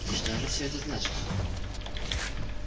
и что же все это значит